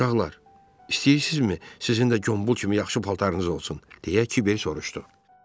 "Uşaqlar, istəyirsinizmi sizin də Qombul kimi yaxşı paltarınız olsun?" deyə Kiber soruşdu.